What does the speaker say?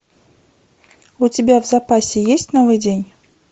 у тебя в запасе есть новый день